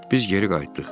Biz geri qayıtdıq.